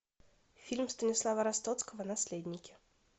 фильм станислава ростоцкого наследники